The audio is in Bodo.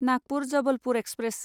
नागपुर जबलपुर एक्सप्रेस